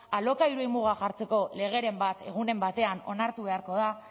alokairuei muga jartzeko legeren bat egunen batean onartu beharko da